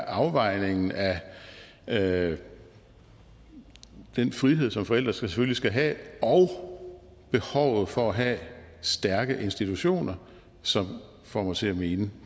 afvejningen af af den frihed som forældre selvfølgelig skal have og behovet for at have stærke institutioner som får mig til at mene